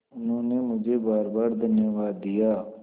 उन्होंने मुझे बारबार धन्यवाद दिया